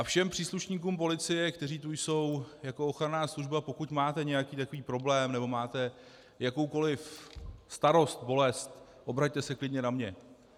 A všem příslušníkům policie, kteří tu jsou jako ochranná služba: pokud máte nějaký takový problém nebo máte jakoukoliv starost, bolest, obraťte se klidně na mě.